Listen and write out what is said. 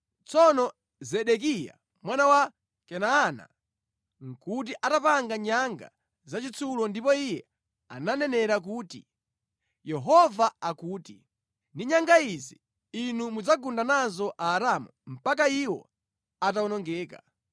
Tsono Zedekiya mwana wa Kenaana nʼkuti atapanga nyanga zachitsulo ndipo iye ananenera kuti, “Yehova akuti, ‘Ndi nyanga izi, inu mudzagunda nazo Aaramu mpaka iwo atawonongeka.’ ”